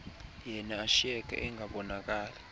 yana ashiyeke engabonakali